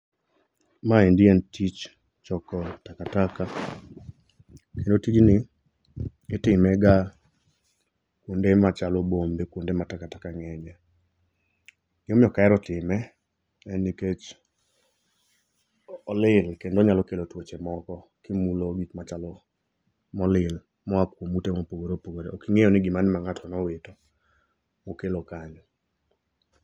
Maendi en tich choko taka taka. Kendo tijni itimega kuonde machalo bombe, kuonde ma takataka ng'enyie. Gima omiyo ok ahero time , en nikech olil kendo onyalo kelo tuoche moko kimulo gik machalo molil moa kuom ute mopogore opogore. Ok ing'eyo ni gimane ma ng'ato nowito mokelo kanyo.